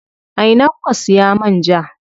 A ina kuka siya man ja?